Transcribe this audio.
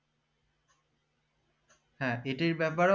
হ্যা এটার ব্যাপারেও